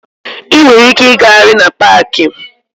Ị nwere ike ịgagharị na paaki.